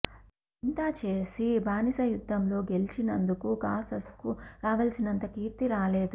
ఇంతా చేసి బానిస యుద్ధంలో గెలిచినందుకు క్రాసస్కు రావలసినంత కీర్తి రాలేదు